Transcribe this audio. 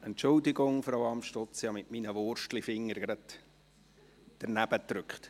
Entschuldigen Sie, Frau Amstutz, ich habe mit meinen Wurstfingern den falschen Knopf gedrückt.